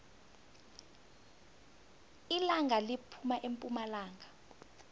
ilanga liphuma epumalanga